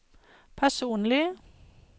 personlig